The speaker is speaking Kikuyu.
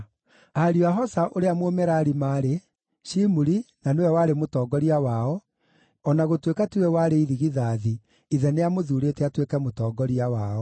Ariũ a Hosa ũrĩa Mũmerari maarĩ: Shimuri na nĩwe warĩ mũtongoria wao (o na gũtuĩka tiwe warĩ irigithathi, ithe nĩamũthuurĩte atuĩke mũtongoria wao),